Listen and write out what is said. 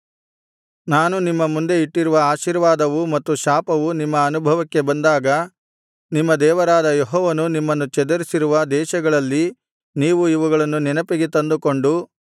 ನಾನು ನಿಮ್ಮ ಮುಂದೆ ಇಟ್ಟಿರುವ ಆಶೀರ್ವಾದವೂ ಮತ್ತು ಶಾಪವೂ ನಿಮ್ಮ ಅನುಭವಕ್ಕೆ ಬಂದಾಗ ನಿಮ್ಮ ದೇವರಾದ ಯೆಹೋವನು ನಿಮ್ಮನ್ನು ಚದರಿಸಿರುವ ದೇಶಗಳಲ್ಲಿ ನೀವು ಇವುಗಳನ್ನು ನೆನಪಿಗೆ ತಂದುಕೊಂಡು